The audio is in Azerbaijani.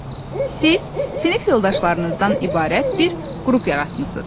Siz sinif yoldaşlarınızdan ibarət bir qrup yaratmısınız.